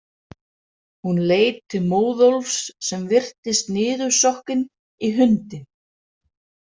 Hún leit til Móðólfs sem virtist niðursokkinn í hundinn.